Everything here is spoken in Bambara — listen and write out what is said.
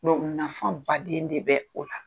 nafa baden de bɛ o la.